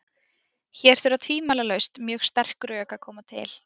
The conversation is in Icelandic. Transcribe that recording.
Hér þurfa tvímælalaust mjög sterk rök að koma til.